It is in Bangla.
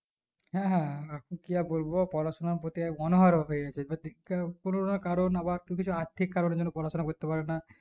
হ্যাঁ হ্যাঁ এখন কি আর বলবো পড়াশোনার প্রতি এঅনাহার হয়ে গেছে এবার দেখতে হ কোনো না কারো আবার কেউ কিছু আর্থিক কারণের জন আবার পড়াশোনা করতে পারে না